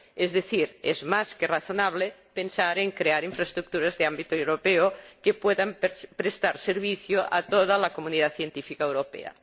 Es decir, es más que razonable pensar en crear infraestructuras de ámbito europeo que puedan prestar servicio a toda la comunidad científica europea.